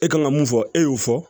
E kan ka mun fɔ e y'o fɔ